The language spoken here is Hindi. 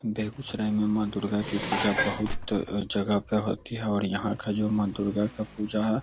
बेगुसराय में मां दुर्गा की पूजा बहुत जगह पे होती है यहां का जो मां दुर्गा का पूजा है --